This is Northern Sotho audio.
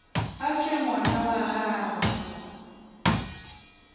a tšwe ngwana wa gagwe